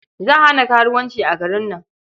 Za a hana karuwanci a garin nan..